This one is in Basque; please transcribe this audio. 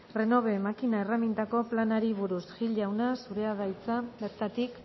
renove makina erreminta planari buruz gil jauna zurea da hitza bertatik